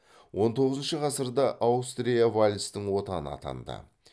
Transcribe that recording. он тоғызыншы ғасырда аустрия вальстың отаны атанды